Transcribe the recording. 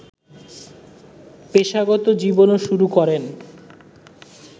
পেশাগত জীবনও শুরু করেন